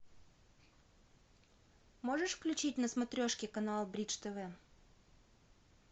можешь включить на смотрешке канал бридж тв